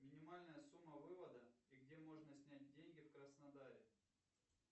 минимальная сумма вывода и где можно снять деньги в краснодаре